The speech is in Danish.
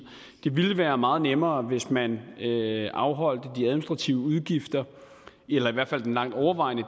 det ville være meget nemmere hvis man afholdt de administrative udgifter eller i hvert fald den langt overvejende